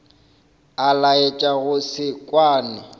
a laetša go se kwane